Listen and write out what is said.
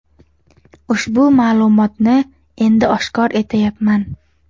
Ushbu ma’lumotni endi oshkor etayapman.